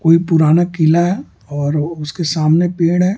कोई पुराना किला है और उसके सामने पेड़ है।